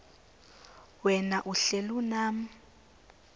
wena uhlel unam